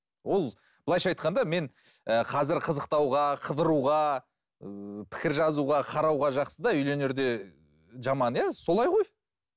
ол былайша айтқанда мен ы қазір қызықтауға қыдыруға ыыы пікір жазуға қарауға жақсы да үйленерде жаман иә солай ғой